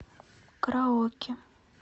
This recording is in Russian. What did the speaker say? караоке